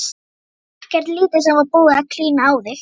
Ekkert lítið sem var búið að klína á þig!